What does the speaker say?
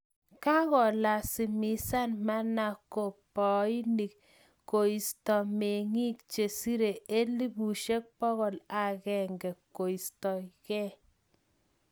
kakolasimishan manamkaboinik koistoo mengiik che siree elipusiek pokol agenge koisto gee